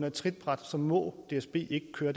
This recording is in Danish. et trinbræt og så må dsb ikke køre